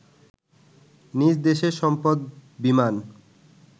নিজ দেশের সম্পদ বিমান